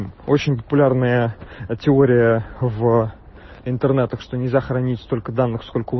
очень популярная теория в интернет так что не сохранить столько данных